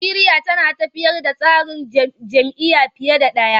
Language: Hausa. Najeriya tana tafiyar da tsarin jam'iyya fiye da ɗaya.